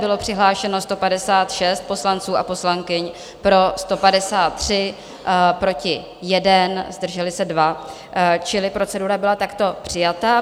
Bylo přihlášeno 156 poslanců a poslankyň, pro 153, proti 1, zdrželi se 2, čili procedura byla takto přijata.